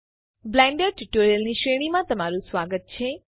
Blender tutorials ની શ્રેણીમાં તમારું સ્વાગત છે